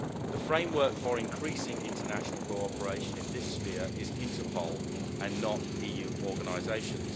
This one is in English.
The framework for increasing international cooperation in this sphere is Interpol and not EU organisations.